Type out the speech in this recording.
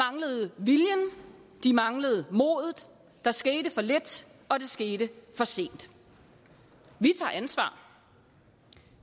de manglede modet der skete for lidt og det skete for sent vi tager ansvar